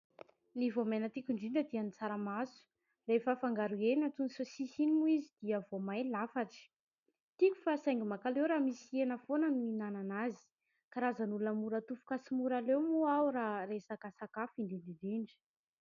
Ny voamaina tiako indrindra dia ny tsaramaso ; rehefa afangaro hena antoy ny saosisy iny moa izy dia voamay lafatra ; tiako fa saingy mankaleo raha misy hena foana no mihinana azy. Karazan'olona mora tofoka sy mora leo moa aho raha resaka sakafo indrindra indrindra.